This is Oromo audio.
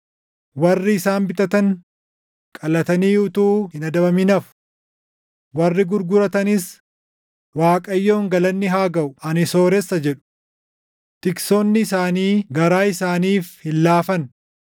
Warri isaan bitatan, qalatanii utuu hin adabamin hafu. Warri gurguratanis, ‘ Waaqayyoon galanni haa gaʼu; ani sooressa!’ jedhu. Tiksoonni isaanii garaa isaaniif hin laafan.